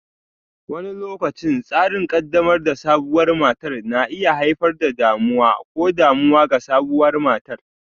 Wani lokaci, tsarin ƙaddamar da sabuwar matar na iya haifar da damuwa ko damuwa ga sabuwar matar.